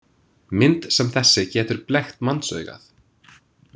Mynd sem þessi getur blekkt mannsaugað.